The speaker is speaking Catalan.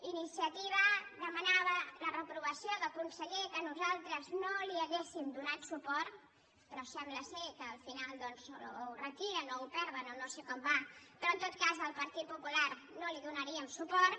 iniciativa demanava la reprovació del conseller que nosaltres no hi hauríem donat suport però sembla que al final o ho retiren o ho perden o no sé com va però en tot cas el partit popular no hi donaríem suport